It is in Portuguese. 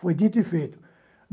Foi dito e feito.